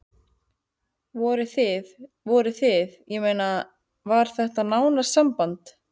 Voruð þið. voruð þið. ég meina. var þetta náið samband?